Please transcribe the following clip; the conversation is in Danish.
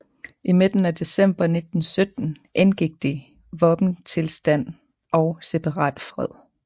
I midten af december 1917 indgik de våbenstilstand og separatfred